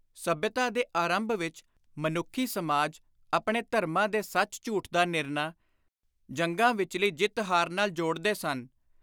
ਸੱਭਿਅਤਾ ਦੇ ਆਰੰਭ ਵਿਚ ਮਨੁੱਖੀ ਸਮਾਜ ਆਪਣੇ ਧਰਮਾਂ ਦੇ ਸੱਚ-ਝੂਠ ਦਾ ਨਿਰਣਾ ਜੰਗਾਂ ਵਿਚਲੀ ਜਿੱਤ-ਹਾਰ ਨਾਲ ਜੋੜਦੇ ਸਨ।